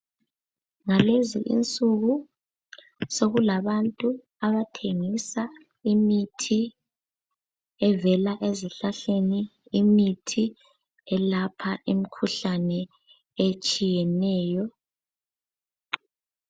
Ngalezi insuku sokulabantu abathengisa imithi evela ezihlahleni imithi elapha imikhuhlane etshiyeneyo.